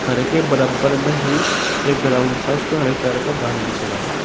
घर के बराबर में ही एक ग्राउंड सा उसपे हरे कलर का घास बिछ रहा है।